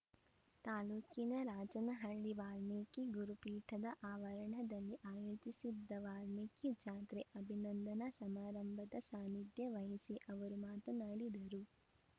ತಾಲೂಕಿನ ರಾಜನಹಳ್ಳಿ ವಾಲ್ಮೀಕಿ ಗುರುಪೀಠದ ಆವರಣದಲ್ಲಿ ಆಯೋಜಿಸಿದ್ದ ವಾಲ್ಮೀಕಿ ಜಾತ್ರೆ ಅಭಿನಂದನಾ ಸಮಾರಂಭದ ಸಾನಿಧ್ಯ ವಹಿಸಿ ಅವರು ಮಾತನಾಡಿದರು